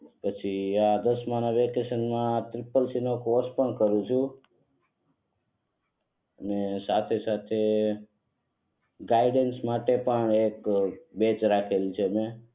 પછી આ દસમાં ના વેકેશન માં ત્રિપલ સી ઈ નો કોર્સ પણ કરું છું અને સાથે સાથે ગાઈડન્સ માટે પણ એક રાખેલું છે મેં